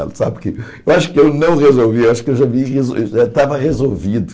Sabe que eu acho que eu não resolvi, eu acho que eu já vi já estava resolvido.